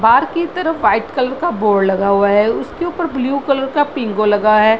बाहर की तरफ व्हाइट कलर का बोर्ड लगा हुआ है उसके ऊपर ब्लू कलर का पिंगो लगा है।